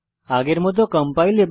আগের মত কম্পাইল করুন